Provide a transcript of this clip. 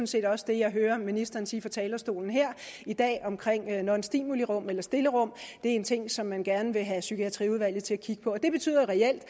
set også det jeg hører ministeren sige fra talerstolen her i dag i nonstimulirum eller stillerum en ting som man gerne vil have psykiatriudvalget til at kigge på og det betyder reelt at